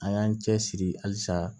An y'an cɛsiri halisa